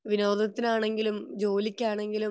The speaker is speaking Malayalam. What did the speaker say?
വിനോദത്തിലാണെങ്കിലും ജോലിക്കാണെങ്കിലും